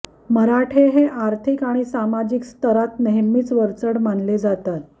मराठे हे आर्थिक आणि सामाजिक स्तरात नेहमीच वरचढ मानले जातात